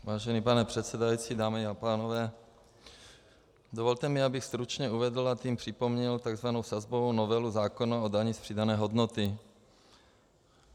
Vážený pane předsedající, dámy a pánové, dovolte mi, abych stručně uvedl, a tím připomněl tzv. sazbovou novelu zákona o dani z přidané hodnoty.